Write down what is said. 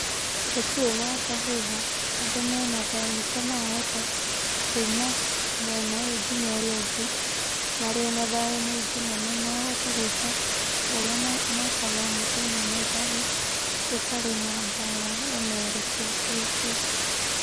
Gũtirĩ na ngahĩha, andũ mena thayũ nĩkĩo marahota kuuma mwena ũyũ nginya ũrĩa ũngĩ, marĩ ona thayũ mũingĩ na nĩ marahota gwĩka ũrĩa mekaga o mũthenya na thayũ gũtarĩ na mbaara ona ĩrĩkũ ĩkuo.